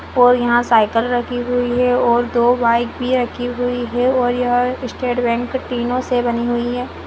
और यहाँ साइकिल रखी हुई है और दो बाइक भी रखी हुई है और यह स्टेट बैंक टिनो से बनी हुई है।